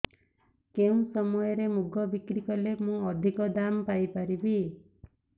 କେଉଁ ସମୟରେ ମୁଗ ବିକ୍ରି କଲେ ମୁଁ ଅଧିକ ଦାମ୍ ପାଇ ପାରିବି